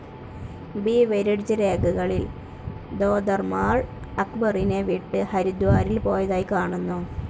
Beveridge രേഖകളിൽ തോദർമാൾ അക്ബറിനെ വിട്ട് ഹരിദ്വാരിൽ പോയതായി കാണുന്നു.